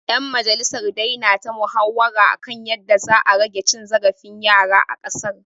‘Yan majalisar dai na ta muhawara kan yadda za a rage cin zarafin yara a ƙasar.